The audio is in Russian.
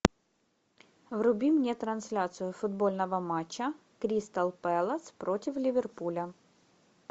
вруби мне трансляцию футбольного матча кристал пэлас против ливерпуля